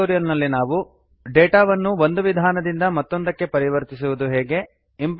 ಈ ಟ್ಯುಟೋರಿಯಲ್ ನಲ್ಲಿ ನಾವು ಕಲಿತದದ್ದು ಡೇಟಾವನ್ನು ಒಂದು ವಿಧಾನದಿಂದ ಮತ್ತೊಂದಕ್ಕೆ ಪರಿವರ್ತಿಸುವುದು ಹೇಗೆ